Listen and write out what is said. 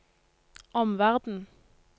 omverden